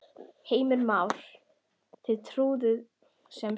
Heimir Már: Þið trúið sem sagt hótuninni?